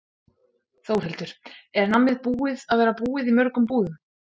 Þórhildur: Er nammið búið að vera búið í mörgum búðum?